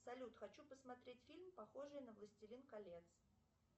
салют хочу посмотреть фильм похожий на властелин колец